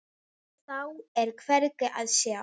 Við mig sem þekki þig.